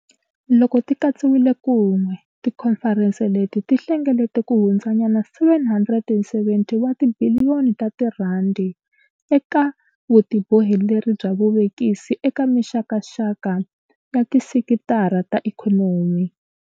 Loko ti katsiwile kun'we, tikhomferense leti ti hlengelete kuhundzanyana R770 wa tibiliyoni ta tirhandi eka vutiboheleri bya vuvekisi eka mixakaxaka ya tisekitara ta ikhonomi.